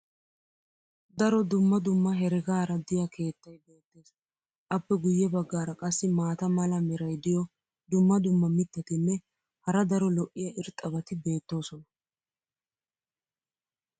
daro dumma dumma heregaara diya keettay beetees. appe guye bagaara qassi maata mala meray diyo dumma dumma mitatinne hara daro lo'iya irxxabati beetoosona.